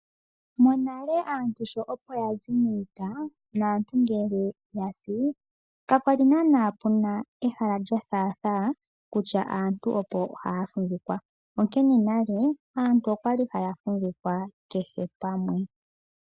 Monale aantu sho opo yazi miita, naantu ngele yasi, kakwali naana kuna ehala lyo thaatha, kutya aantu opo haya fumvikwa, onkene nale aantu okwali haya fumvikwa kehe pamwe.